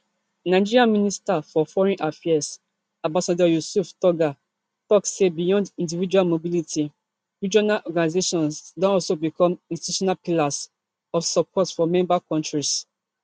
nigeria minister for foreign affairs ambassador yusuf tuggar tok say beyond individual mobility regional organizations don also become institutional pillars of support for member kontris